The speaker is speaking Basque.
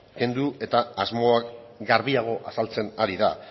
kendu eta asmoak garbiago azaltzen ari da